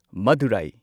Madurai